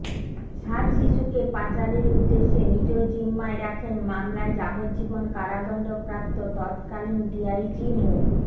সাত শিশুকে পাচারের উদ্দেশে নিজ জিম্মায় রাখার মামলায় যাবজ্জীবন কারাদণ্ডপ্রাপ্ত তৎকালীন ডিআইজি মো